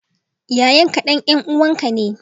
Yayan ka, dan yan uwanka ne,